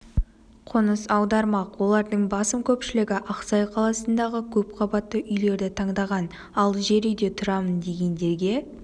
қоныс аудармақ олардың басым көпшілігі ақсай қаласындағы көпқабатты үйлерді таңдаған ал жер үйде тұрамын дегендерге